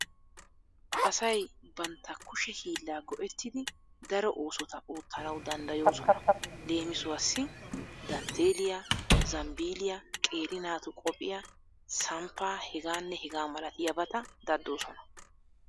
Asay bantta kushe hiilla go'ettidi daro oosota oottanawu danddayoosona. Leemisuwassi:- dantteelliya, zambbiilliya, qeeri naatu qophiya, samppaa hegaanne hegaa malatiyabata daddoosona.